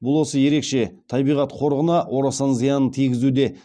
бұл осы ерекше табиғат қорығына орасан зиянын тигізуде